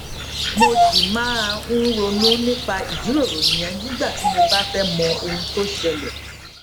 mo ṣì máa ń ronú nípa ìjíròrò yẹn nígbà tí mo bá fé mọ ohun tó ṣẹlè